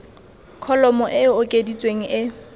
kholomo e e okeditsweng e